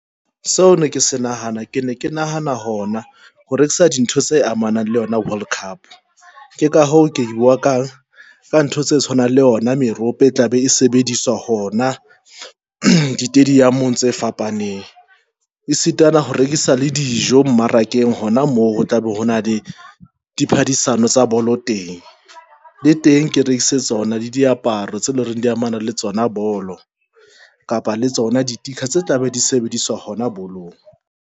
Seo ne ke se nahana, ke ne ke nahana hona hore ke sa dintho tse amanang le yona world cup ke ka hoo ke bua ka ka ntho tse tshwanang le yona merope e tla be e sebediswa hona ditediamong tse fapaneng. E sitana ho rekisa le dijo mmarakeng hona moo ho tla be hona le di phedisano tsa bolo teng le teng ke rekise tsona le diaparo tse leng reng di amana le tsona bolo kapa le tsona di-sticker tse tla be di sebediswa hona bolong.